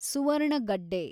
ಸುವರ್ಣಗಡ್ಡೆ